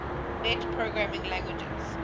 net programming languages